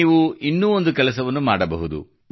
ನೀವು ಇನ್ನೂ ಒಂದು ಕೆಲಸವನ್ನು ಮಾಡಬಹುದು